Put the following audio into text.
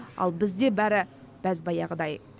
ал бізді бәрі бәз баяғыдай